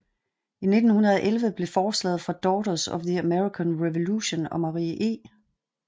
I 1911 blev forslaget fra Daughters of the American Revolution og Marie E